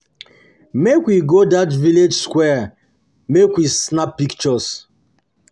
make we go that village square make we snap pictures